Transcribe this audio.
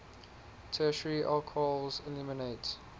tertiary alcohols eliminate